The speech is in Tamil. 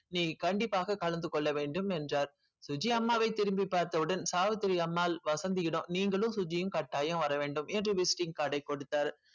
நீ கண்டிப்பாக கலந்து கொள்ள வேண்டும் என்றார் சுஜி அம்மாவை திரும்பி பார்த்தவுடன் சாவித்திரி அம்மாள் வசந்தியிடம் நீங்களும் சுஜியும் கட்டாயம் வர வேண்டும் என்று visiting card டை கொடுத்தார்